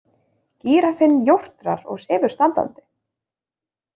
Gíraffinn jórtrar og sefur standandi.